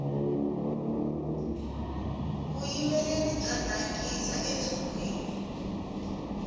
vuyimbeleri bya dankisa entshungwini